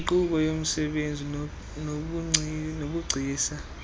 yinkqubo yomsebenzi nobugcisa